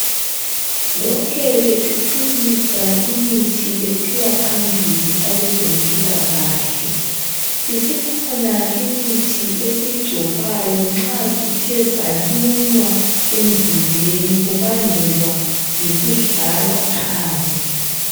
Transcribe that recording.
Lokhe bethuthukisa imithi besiya phambili abezempilakahle isikhona imithi esiyigcobayo nxa sithe salunywa emzimbeni kubangelwa yikudlala phandle.